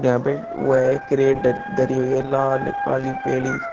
यहां पे वो है क्रेट ध धरी हुई है लाल काली पीली।